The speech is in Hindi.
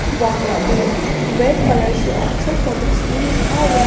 वहां पे व्हाइट कलर से ऑक्सफर्ड पब्लिक स्कूल लिखा हुआ है।